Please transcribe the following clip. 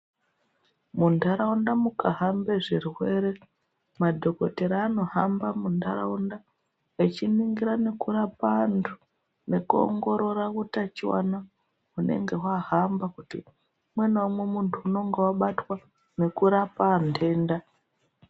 Muntaraunda mukahambe zvirwere madhokotera anohamba muntaraunda echiningira nekurape antu nekuongorora utachiwana hunenge hwahamba kuti umwe naumwe muntu unenge wabatwa nekurape antenda.